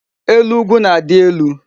Elu ugwu na-adi elu